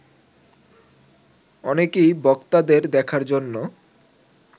অনেকেই বক্তাদের দেখার জন্য